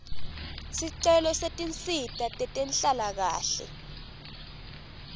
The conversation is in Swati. sicelo setinsita tetenhlalakahle